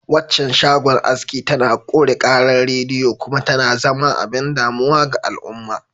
Waccan shagon aski tana ƙure ƙarar rediyo kuma tana zama abin damuwa ga al'umma.